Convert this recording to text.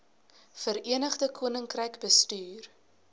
verenigde koninkryk bestuur